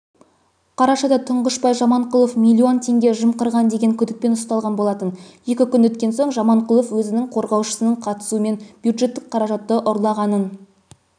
қарашада тұңғышбай жаманқұлов миллион теңге жымқырған деген күдікпен ұсталған болатын екі күн өткен соң жаманқұлов өзінің қорғаушысының қатысуымен бюджеттік қаражатты ұрлағанын